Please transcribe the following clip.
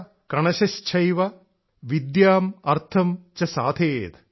കണശശ്ചൈവ വിദ്യാം അർത്ഥം ച സാധയേത്